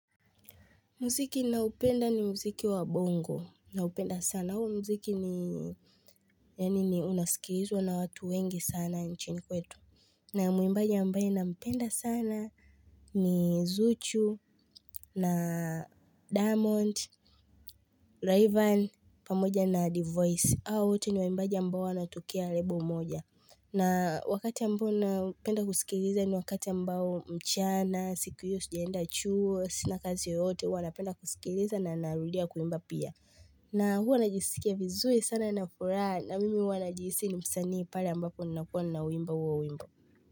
Muziki ninaopenda ni muziki wa bongo. Naupenda sana. Huu muziki ni unasikilizwa na watu wengi sana nchini kwetu. Na ya muimbaji ambaye nampenda sana ni Zuchu na Diamond, Rayvanny pamoja na Divoice. Hawa wote ni waimbaji ambao wanatokea label moja. Na wakati ambao napenda kusikiliza ni wakati ambao mchana, siku hiyo sijaenda chuo, sina kazi yoyote, huwa napenda kusikiliza na narudia kuimba pia. Na huwa najisikia vizui sana na furaha na mimi huwa najihisi ni msanii pale ambapo ninakuwa ninauimba huo wimbo.